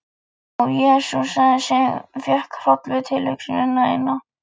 Og jesúsaði sig, fékk hroll við tilhugsunina eina.